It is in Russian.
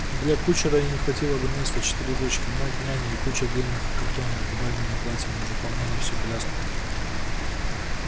да для кучера и не хватило бы места четыре дочки мать няня и куча длинных картонок с бальными платьями заполняли всю коляску